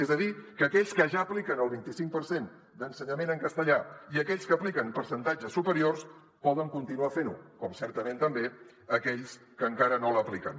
és a dir que aquells que ja apliquen el vinti cinc per cent d’ensenyament en castellà i aquells que apliquen percentatges superiors poden continuar fent ho com certament també aquells que encara no l’apliquen